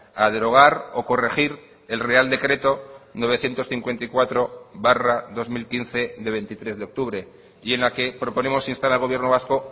a derogar o corregir el real decreto novecientos cincuenta y cuatro barra dos mil quince de veintitrés de octubre y en la que proponemos instar al gobierno vasco